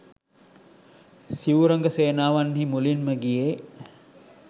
සිව් රඟ සේනාවන්හි මුලින්ම ගියේ